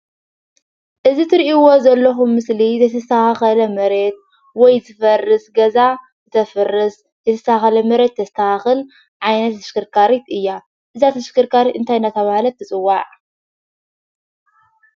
እዚ እትሪኢዎ ዘለኹም ምስሊ ዘይተስተኻኸለ መሬት ወይ ዝፈርስ ገዛ ተፍርስ ዘይተስተኻኸለ መሬት ተስተኻኽል ዓይነት ተሽከርካሪት እያ፡፡ እዛ ተሽከርካሪት እንታይ እናተብሃለት ትፅዋዕ?